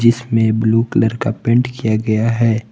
जिसमे blue colour का paint किया गया है।